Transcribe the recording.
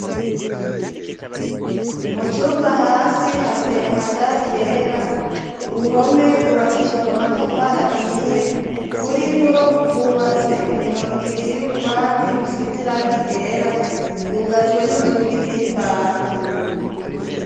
Mu cumba hasi hateye amadari yera, uruhome rwubakishijwe amatafari ahiye kuriwo hubatse imirongo ibiri y'ububati busizirangigera rgugajwe n'inzuga iz'imbaho.